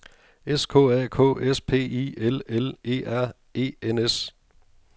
S K A K S P I L L E R E N S